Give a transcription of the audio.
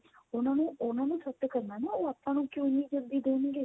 ਉਹਨਾ ਨੂੰ ਉਹਨਾ ਨੂੰ set ਕਰਨਾ ਨਾ ਉਹ ਆਪਾਂ ਨੂੰ ਕਿਉਂ ਇੰਨੀ ਜਲਦੀ ਦੇਣਗੇ